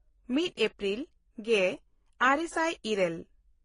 ᱢᱤᱫ ᱮᱯᱨᱤᱞ ᱜᱮᱼᱟᱨᱮ ᱥᱟᱭ ᱤᱨᱟᱹᱞ